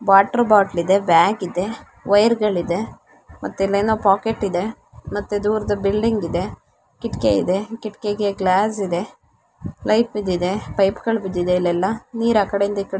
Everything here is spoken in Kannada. ವಾಟರ್ ಬಾಟಲ್ ಇದೆ ಬ್ಯಾಗ್ ಇದೆ ವೈರಗಲಿದೆ ಮತ್ತೆ ಇನ್ನೇನ ಪಾಕೆಟ್ ಇದೆ ಮತ್ತು ದೂರದ ಬಿಲ್ಡಿಂಗ್ ಇದೆ ಕಿಟಕೆ ಇದೆ ಕಿಟಕೆಗೆ ಗ್ಲಾಸ್ ಇದೆ ನೈಫ್ ಬಿದ್ದಿದೆ ಪೈಪಗಳು ಬಿದ್ದಿದೆ ಇಲ್ಲೆಲ್ಲಾ ನೀರ ಆಕೆಡೆಯಿಂದ ಈಕಡೆ--